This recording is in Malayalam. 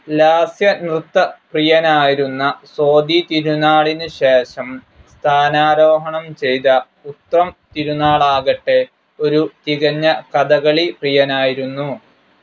ലാസ്യനൃത്തപ്രിയനായിരുന്ന സ്വാതിതിരുനാളിനുശേഷം സ്ഥാനാരോഹണം ചെയ്ത ഉത്രം തിരുനാളാകട്ടെ, ഒരു തികഞ്ഞ കഥകളി പ്രിയനായിരുന്നു.